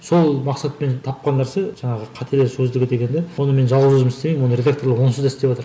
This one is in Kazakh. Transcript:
сол мақсатпен тапқан нәрсе жаңағы қателер сөздігі дегенді оны мен жалғыз өзім істемеймін оны редакторлар онсыз да істеватыр